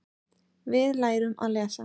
Við lærum að lesa.